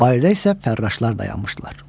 Bayırda isə fərraşlar dayanmışdılar.